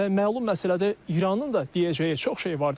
Məlum məsələdir, İranın da deyəcəyi çox şey vardır.